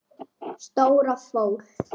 Stóra fól.